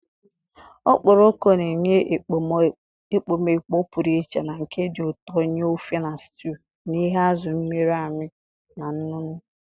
Okporoko na-enye ekpomeekpo pụrụ iche na nke dị ụtọ nye ofe na stew n'ihi azụ̀ mịrị amị na nnu nnu.